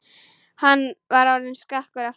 Hann var orðinn skakkur aftur.